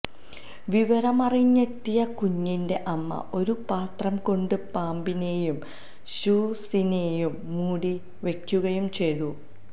വിവരമറിഞ്ഞെത്തിയ കുഞ്ഞിന്റെ അമ്മ ഒരു പാത്രം കൊണ്ട് പാമ്പിനെയും ഷൂസിനെയും മൂടി വയ്ക്കുകയും ചെയ്തു